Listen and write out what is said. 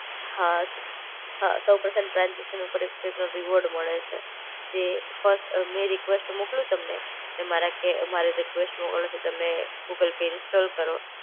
હા. હા સઉ પ્રથમ ટ્રાન્સઝેકશન ઉપર એક સો એક નો રિવોર્ડ મળે છે. જે ફર્સ્ટ અ મેં રિક્વેસ્ટ મોકલું તમને. ને મારા કે મારા રિક્વેસ્ટ તમે ગૂગલ પે ઇન્સ્ટોલ કરો